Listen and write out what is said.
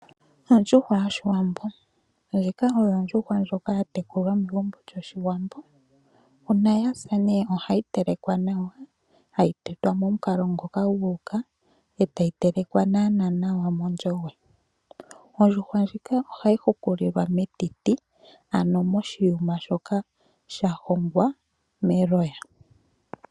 Ondjuhwa yOshiwambo. Ndjika oyo ondjuhwa ndjoka ya tekulwa megumbo lyOshiwambo. Uuna ya sa ne ohayi telekwa nawa, hayi tetwa momukalo ngoka gu uka etayi telekwa nawanawa nawa mondjove. Ondjuhwa ndjika ohayi hukililwa metiti, ano moshiyuma shoka sha hongwa meloya.